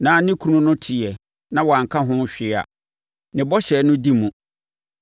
na ne kunu no teeɛ na wanka ho hwee a, ne bɔhyɛ no di mu.